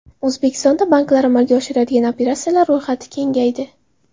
O‘zbekistonda banklar amalga oshiradigan operatsiyalar ro‘yxati kengaydi.